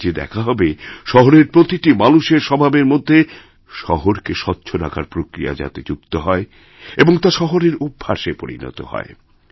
এইকাজে দেখা হবে শহরের প্রতিটি মানুষের স্বভাবের মধ্যে শহরকে স্বচ্ছ রাখার প্রক্রিয়াযাতে যুক্ত হয় এবং তা শহরের অভ্যাসে পরিনত হয়